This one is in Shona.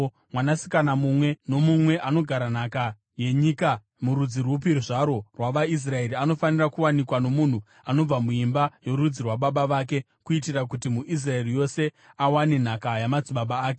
Mwanasikana mumwe nomumwe anogara nhaka yenyika murudzi rupi zvarwo rwavaIsraeri anofanira kuwanikwa nomunhu anobva muimba yorudzi rwababa vake, kuitira kuti muIsraeri wose awane nhaka yamadzibaba ake.